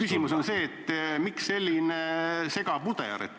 Küsimus on see, miks selline segapuder.